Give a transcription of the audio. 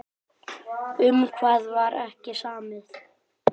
Um hvað var ekki samið?